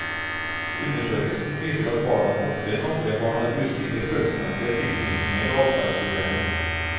Undersøkelsen viser at barna oftere enn andre barn har usikre følelsesmessige tilknytninger og adferdsproblemer.